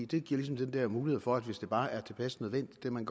det giver ligesom den der mulighed for at hvis det bare er tilpas nødvendigt kan man